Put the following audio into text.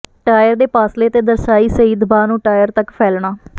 tyre ਦੇ ਪਾਸਲੇ ਤੇ ਦਰਸਾਈ ਸਹੀ ਦਬਾਅ ਨੂੰ ਟਾਇਰ ਤੱਕ ਫੈਲਣਾ